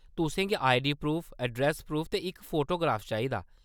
तुसें गी ID proof, address proof ते इक फोटोग्राफ चाहिदा।